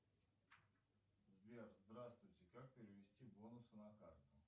сбер здравствуйте как перевести бонусы на карту